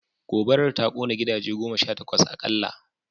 Gobarar ta kone gidaje goma sha takwas akalla